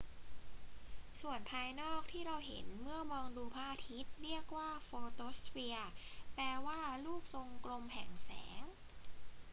ส่วนภายนอกที่เราเห็นเมื่อมองดูพระอาทิตย์เรียกว่าโฟโตสเฟียร์ แปลว่า ลูกทรงกลมแห่งแสง